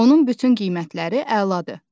Onun bütün qiymətləri əladır.